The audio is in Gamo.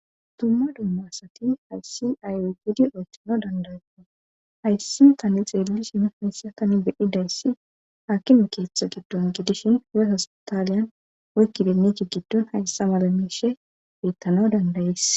dumma dumma asati hayssi ayogidi oytthano dandayea hayssi tani xeelli shi hayssa tani bididayssi haakimi keeththa giddon gidishin hu7e hospataaliyan woykki binnich giddon hayssa mala miishe beyttano dandayees